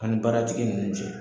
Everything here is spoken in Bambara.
An ni baratigi ninnu cɛ.